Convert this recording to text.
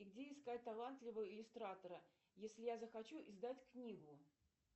где искать талантливого иллюстратора если я захочу издать книгу